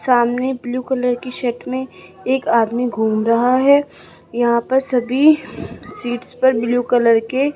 सामने blue colour की shirt में एक आदमी घूम रहा है यहां पर सभी सीट्स पर ब्लू कलर के --